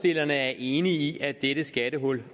er enige i at dette skattehul